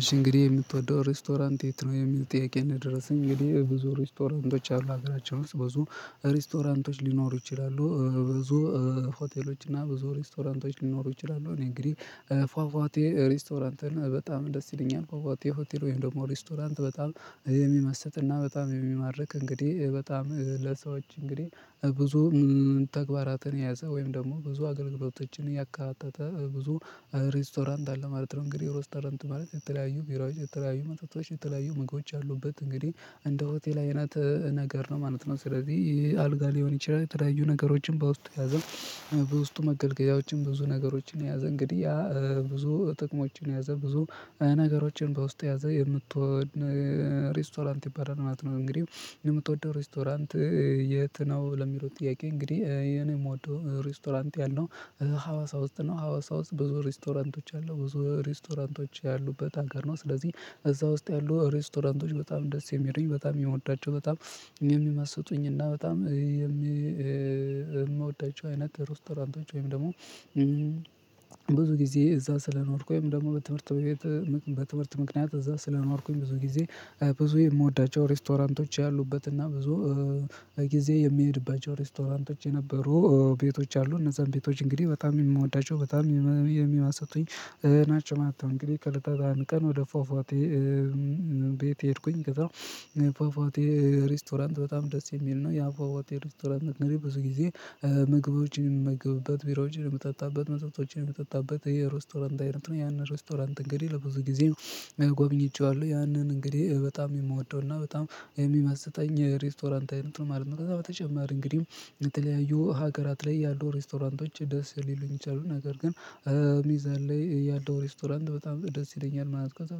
እሺ እንግዲህ የምትወደው ሬስቶራንት የት ነው? የሚል ጥያቄ ነው የደረሰኝ እንግዲህ ብዙ ሬስቶራንቶች አሉ ሀገራቸውን ብዙ ሬስቶራንቶች ሊኖሩ ይችላሉ ብዙ ሆቴሎች እና ብዙ ሬስቶራንቶች ሊኖሩ ይችላሉ እኔ እንግዲህ ፏፏቴ ሬስቶራንትን በጣም ደስ ይለኛል ፏፏቴ ሆቴል ወይም ደግሞ ሬስቶራንት በጣም የሚመስጥና በጣም የሚማርክ እንግዲህ በጣም ለሰዎች እንግዲህ ብዙ ተግባራትን የያዘ ወይም ደግሞ ብዙ አገልግሎቶችን ያካተተ ብዙ ሬስቶራንት አለ ማለት ነው እንግዲህ ሬስቶራንት ማለት የተለያዩ ቢራዎች የተለያዩ መጽሐፎች የተለያዩ ምግቦች ያሉበት እንግዲህ እንደ ሆቴል አይነት ነገር ነው ማለት ነው ስለዚህ ይሄ አልጋ ሊሆን ይችላል የተለያዩ ነገሮችን በውስጡ የያዘ ውስጡ መገልገያዎችን ብዙ ነገሮችን የያዘ እንግዲህ ያ ብዙ ጥቅሞችን የያዘ ብዙ ነገሮችን በውስጡ የያዘ የምትወድ ሬስቶራንት ይበላል ማለት ነው። እንግዲህ የምትወደው ሬስቶራንት የት ነው? ለሚለው ጥያቄ እንግዲህ እኔ የምወደው ሬስቶራንት ያለው ሀዋሳ ውስጥ ነው ሀዋሳ ውስጥ ብዙ ሬስቶራንቶች አሉ ብዙ ሬስቶራንቶች ያሉበት ሀገር ነው ስለዚህ እዛ ውስጥ ያሉ ሬስቶራንቶች በጣም ደስ የሚሉኝ በጣም የምወዳቸው በጣም የሚመስጡኝ እና በጣም የምወዳቸው አይነት ሬስቶራንቶች ወይም ደግሞ ብዙ ጊዜ እዛ ስለኖርኩኝ ወይም ደግሞ በትምህርት ቤት በትምህርት ምክንያት እዛ ስለኖርኩኝ ብዙ ጊዜ ብዙ የምወዳቸው ሬስቶራንቶች ያሉበት እና ብዙ ጊዜ የሚሄድባቸው ሬስቶራንቶች የነበሩ ቤቶች አሉ እነዛን ቤቶች እንግዲህ በጣም የምወዳቸው በጣም የሚያስጡኝ ናቸው ማለት ነው። እንግዲህ ከለታት አንድ ቀን ወደ ፏፏቴ ቤት ሄድኩኝ ከዛ ፏፏቴ ሬስቶራንት በጣም ደስ የሚል ነው ያ ፏፏቴ ሬስቶራንት እንግዲህ ብዙ ጊዜ ምግቦችን የምመገብበት ቢራዎችን የምጠጣበት መጠጦችን የምጠጣበት የሮስቶራንት አይነት ነው ያንን ሮስቶራንት እንግዲህ ለብዙ ጊዜ ጎብኝቼዋለሁ ያንን እንግዲህ በጣም የምወደውና በጣም የሚመስጠኝ ሬስቶራንት አይነት ነው ማለት ነው ከዛ በተጨማር እንግዲህ የተለያዩ ሀገራት ላይ ያሉ ሬስቶራንቶች ደስ ሊሉኝ ይችላሉ ነገር ግን ሚዛን ላይ ያለው ሬስቶራንት በጣም ደስ ይለኛል ማለት ነው ከዛ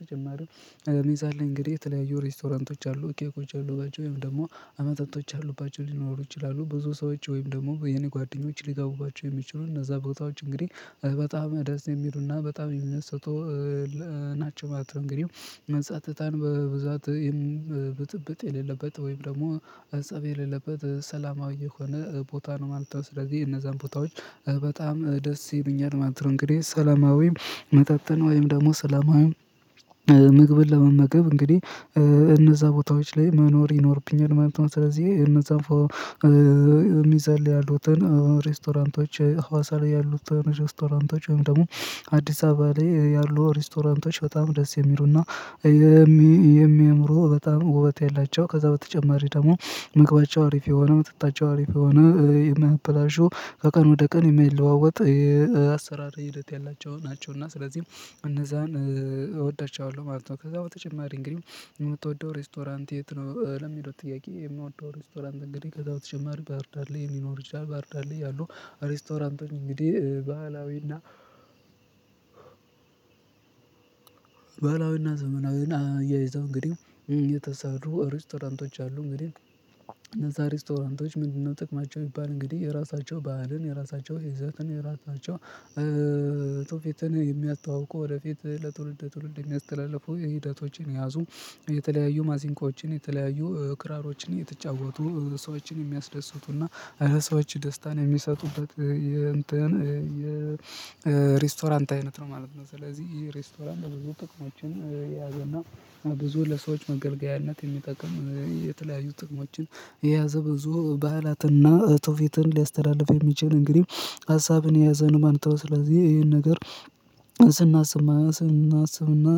ተጨማሪም ሌላ ሚዛን ላይ እንግዲህ የተለያዩ ሬስቶራንቶች አሉ ኬኮች ያሉባቸው ወይም ደግሞ መጠጦች ያሉባቸው ሊኖሩ ይችላሉ ብዙ ሰዎች ወይም ደግሞ የኔ ጓደኞች ሊገቡባቸው የሚችሉ እነዛ ቦታዎች እንግዲህ በጣም ደስ የሚሉና በጣም የሚመስጡ ናቸው ማለት ነው። እንግዲህ ጸጥታን በብዛት ብጥብጥ የሌለበት ወይም ደግሞ ፀብ የሌለበት ሰላማዊ የሆነ ቦታ ነው ማለት ነው ስለዚህ እነዛን ቦታዎች በጣም ደስ ይሉኛል ማለትነው እንግዲህ ሰለማዊም መጠጥን ወይም ደግሞ ሰላማዊ ምግብን ለመመገብ እንግዲህ እነዛ ቦታዎች ላይ መኖር ይኖርብኛል ማለት ነው ስለዚህ እነዛን የሚዛን ላይ ያሉትን ሬስቶራንቶች ሀዋሳ ላይ ያሉት ሬስቶራንቶች ወይም ደግሞ አዲስ አበባ ላይ ያሉ ሬስቶራንቶች በጣም ደስ የሚሉና የሚያምሩ በጣም ውበት ያላቸው ከዛ በተጨማሪ ደግሞ ምግባቸው አሪፍ የሆነ መጠጣቸው አሪፍ የሆነ የማይበላሹ ከቀን ወደ ቀን የማይለዋወጥ የአሰራር ሂደት ያላቸው ናቸው እና ስለዚህም እነዛን እወዳቸዋለሁ ማለት ነው ከዛ በተጨማሪ እንግዲህ የምትወደው ሬስቶራንት የት ነው ለሚለው ጥያቄ የምንወደው ሬስቶራንት እንግዲህ ከዛ በተጨማሪ ባህርዳር ላይ ሊኖር ይችላል ባህርዳር ላይ ያሉ ሬስቶራንቶች እንግዲህ ባህላዊና ባህላዊና ዘመናዊና አያይዘው እንግዲህ የተሰሩ ሬስቶራንቶች አሉ እንግዲህ ሬስቶራንቶች ምንድነው ጥቅማቸው የሚባል እንግዲህ የራሳቸው ባህልን የራሳቸው ይዘትን የራሳቸው ትውፊትን የሚያስተዋውቁ ወደፊት ለትውልድ ለትውልድ የሚያስተላልፉ የሂደቶችን ያዙ የተለያዩ ማሲንቆዎችን የተለያዩ ክራሮችን እየተጫወቱ ሰዎችን የሚያስደስቱና እና ለሰዎች ደስታን የሚሰጡበት የእንትን የሬስቶራንት አይነት ነው ማለት ነው ስለዚህ ይሄ ሬስቶራንት ብዙ ጥቅሞችን የያዘና ብዙ ለሰዎች መገልገያነት የሚጠቅም የተለያዩ ጥቅሞችን የያዘ ብዙ ባህላትና እጥፍ ወፊትን ሊያስተላልፍ የሚችል እንግዲህ ሀሳብን የያዘን ማለት ነው። ስለዚህ ይሄን ነገር ስናስብ ስናስብና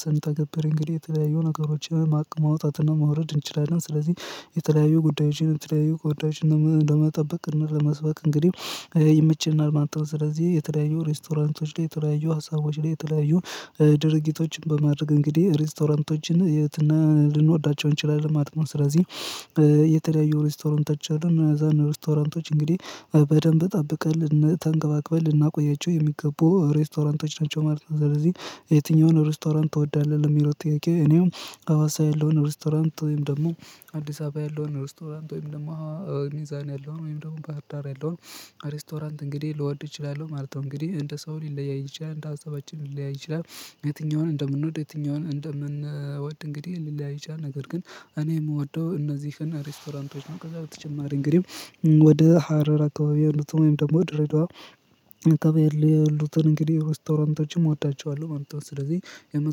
ስንተገብር እንግዲህ የተለያዩ ነገሮችን ማቀድ ማውጣት እና ማውረድ እንችላለን ስለዚህ የተለያዩ ጉዳዮችን የተለያዩ ጉዳዮችን ለመጠበቅ እና ለመስበክ እንግዲህ ይመቸናል ማለት ነው። ስለዚህ የተለያዩ ሬስቶራንቶች ላይ የተለያዩ ሀሳቦች ላይ የተለያዩ ድርጊቶችን በማድረግ እንግዲህ ሬስቶራንቶችን ልንወዳቸው እንችላለን ማለት ነው ስለዚህ የተለያዩ ሬስቶራንቶች አሉ እነዛን ሬስቶራንቶች እንግዲህ በደንብ እጠብቀን ተንከባክበን ልናቆያቸው የሚገቡ ሬስቶራንቶች ናቸው። ማለት ነው። ስለዚህ የትኛውን ሬስቶራንት ትወዳለህ? ለሚለው ጥያቄ እኔም ሀዋሳ ያለውን ሬስቶራንት ወይም ደግሞ አዲስ አበባ ያለውን ሬስቶራንት ወይም ደግሞ ሚዛን ያለው ወይም ደግሞ ባህር ዳር ያለውን ሬስቶራንት እንግዲህ ልወድ እችላለሁ ማለት ነው እንግዲህ እንደ ሰው ሊለያይ ይችላል እንደ ሀሳባችን ሊለያይ ይችላል። የትኛውን እንደምንወድ የትኛውን እንደምንወድ እንግዲህ ሊለያይ ይችላል። ነገር ግን እኔ የምወደው እነዚህን ሬስቶራንቶች ነው ከዛ በተጨማሪ እንግዲህ ወደ ሀረር አካባቢ ያሉትን ወይም ደግሞ ድሬዳዋ አካባቢ ያሉትን እንግዲህ ሬስቶራንቶችም እወዳቸዋለሁ ማለት ነው ስለዚህ የመጣው